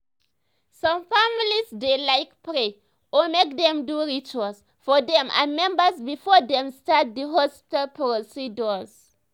some families dey like pray or mk dem do rituals for dem members before dem start the hospital procedure